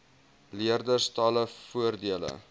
leerders talle voordele